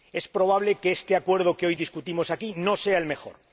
Es probable que este Acuerdo que hoy debatimos aquí no sea el mejor.